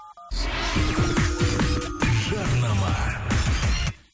жарнама